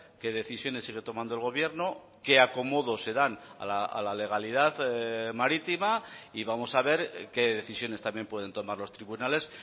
qué decisiones sigue tomando el gobierno qué acomodo se dan a la legalidad marítima y vamos a ver qué decisiones también pueden tomar los tribunales